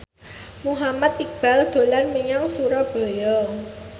Muhammad Iqbal dolan menyang Surabaya